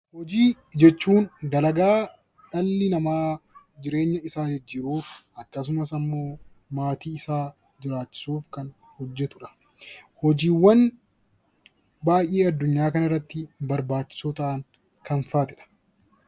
Hojii jechuun dalagaa dhalli namaa jireenya isaa jijjiiruuf akkasumas ammoo maatii isaa jiraachisuuf kan hojjetudha. Hojiiwwan baay'ee addunyaa kanarratti barbaachisoo ta'an kam faatidha?